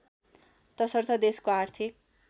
तसर्थ देशको आर्थिक